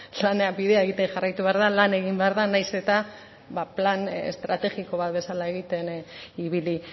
lanean bidea egiten jarraitu behar da lan egin behar da nahiz eta plan estrategiko bat bezala egiten ibili